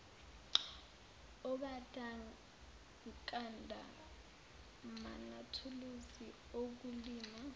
ogandaganda manathuluzi okulima